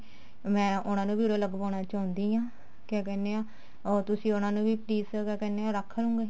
ਮੈਂ ਉਹਨਾ ਨੂੰ ਵੀ ਉਰੇ ਲਗਵਾਉਣਾ ਚਾਹੁੰਦੀ ਹਾਂ ਕਿਆ ਕਹਿਨੇ ਆਂ ਤੁਸੀਂ ਉਹਨਾ ਵੀ please ਕਿਆ ਕਹਿਨੇ ਆਂ ਰੱਖ ਲਵੋਂਗੇ